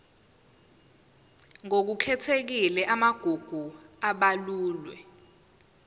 ngokukhethekile amagugu abalulwe